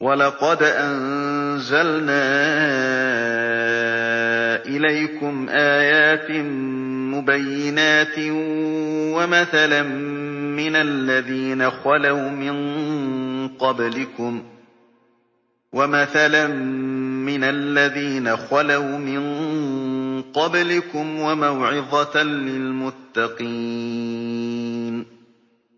وَلَقَدْ أَنزَلْنَا إِلَيْكُمْ آيَاتٍ مُّبَيِّنَاتٍ وَمَثَلًا مِّنَ الَّذِينَ خَلَوْا مِن قَبْلِكُمْ وَمَوْعِظَةً لِّلْمُتَّقِينَ